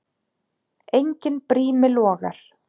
Enginn brími logar.